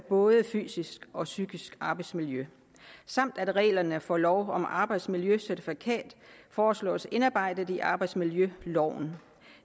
både fysisk og psykisk arbejdsmiljø samt at reglerne for lov om arbejdsmiljøcertifikat foreslås indarbejdet i arbejdsmiljøloven